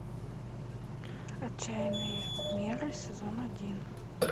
отчаянные меры сезон один